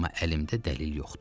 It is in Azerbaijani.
Amma əlimdə dəlil yoxdur.